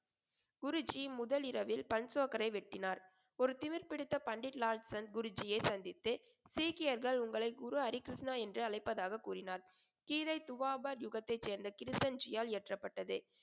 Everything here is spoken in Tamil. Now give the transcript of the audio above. குருஜி முதலிரவில் பன்சோக்கரை வெட்டினார். ஒரு திமிர்பிடித்த பண்டித் லால்சன் குருஜியை சந்தித்து சீக்கியர்கள் உங்களை குரு ஹரிகிருஷ்ணா என்று அழைப்பதாகக் கூறினார். கீதை துவாபர் யுகத்தைச் சேர்ந்த கிருஷ்ணன் ஜியால் இயற்றப்பட்டது.